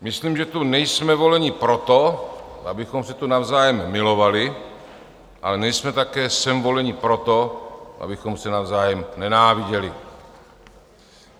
Myslím, že tu nejsme voleni proto, abychom se tu navzájem milovali, ale nejsme také sem voleni proto, abychom se navzájem nenáviděli.